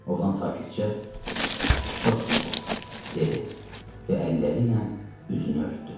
Oğlan sakitcə: "Çox sağ ol," dedi və əlləri ilə üzünü örtdü.